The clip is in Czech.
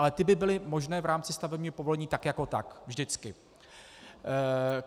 Ale ty by byly možné v rámci stavebního povolení tak jako tak, vždycky.